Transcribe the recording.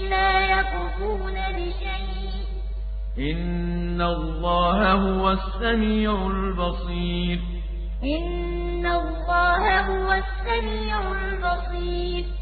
السَّمِيعُ الْبَصِيرُ وَاللَّهُ يَقْضِي بِالْحَقِّ ۖ وَالَّذِينَ يَدْعُونَ مِن دُونِهِ لَا يَقْضُونَ بِشَيْءٍ ۗ إِنَّ اللَّهَ هُوَ السَّمِيعُ الْبَصِيرُ